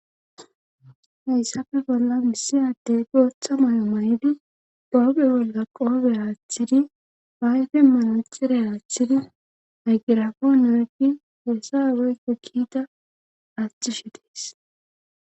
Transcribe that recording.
hayssafe bolla misiyaddey gooththa may7o may7idi dooge bolla qoobe aaththidi baayfe manacire aaththidi aygirafonargi hessaweykko kiita aaththishi dees